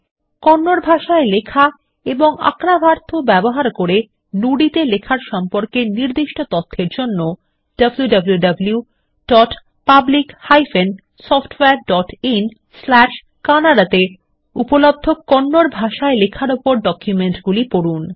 কন্নড ভাষায় লেখা এবং আর্কাভাথু ব্যবহার করে নুদি তে লেখার সম্পর্কে নির্দিষ্ট তথ্যর জন্য wwwPublic SoftwareinKannada তে উপলব্ধ কন্নড ভাষায় লেখার উপর ডকুমেন্টগুলি পড়ুন